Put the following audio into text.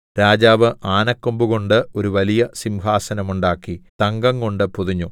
രാജാവ് ആനക്കൊമ്പു കൊണ്ട് ഒരു വലിയ സിംഹാസനം ഉണ്ടാക്കി തങ്കംകൊണ്ടു പൊതിഞ്ഞു